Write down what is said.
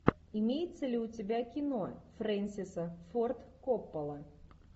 имеется ли у тебя кино фрэнсиса форд коппола